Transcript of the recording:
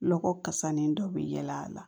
Lɔgɔ kasani dɔ bɛ yaala a la